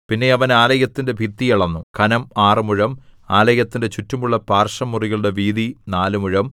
പിന്നെ അവൻ ആലയത്തിന്റെ ഭിത്തി അളന്നു ഘനം ആറ് മുഴം ആലയത്തിന്റെ ചുറ്റുമുള്ള പാർശ്വമുറികളുടെ വീതി നാല് മുഴം